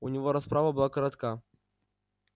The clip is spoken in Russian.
у него расправа была коротка